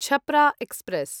Chhapra express